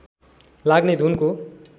लाग्ने घुनको